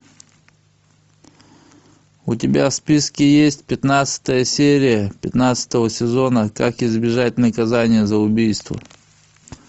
у тебя в списке есть пятнадцатая серия пятнадцатого сезона как избежать наказания за убийство